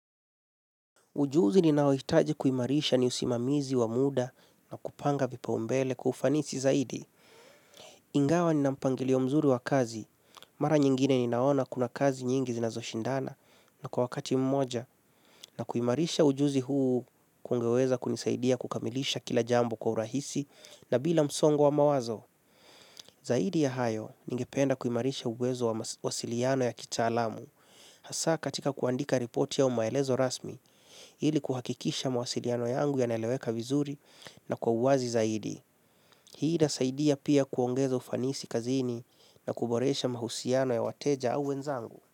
Ujuzi ninaohitaji kuimarisha ni usimamizi wa muda na kupanga vipaumbele kwa ufanisi zaidi. Ingawa nina mpangilio mzuri wa kazi. Mara nyingine ninaona kuna kazi nyingi zinazoshindana na kwa wakati mmoja na kuimarisha ujuzi huu kungeweza kunisaidia kukamilisha kila jambo kwa urahisi na bila msongo wa mawazo. Zaidi ya hayo ningependa kuimarisha uwezo wa wasiliano ya kitaalamu. Hasa katika kuandika ripoti au maelezo rasmi, ili kuhakikisha mawasiliano yangu yanaeleweka vizuri na kwa uwazi zaidi. Hii itasaidia pia kuongeza ufanisi kazini na kuboresha mahusiano ya wateja au wenzangu.